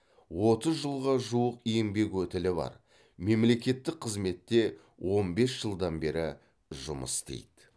отыз жылға жуық еңбек өтілі бар мемлекеттік қызметте он бес жылдан бері жұмыс істейді